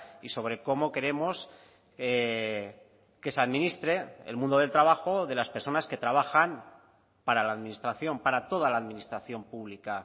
y sobre cómo queremos que se administre el mundo del trabajo de las personas que trabajan para la administración para toda la administración pública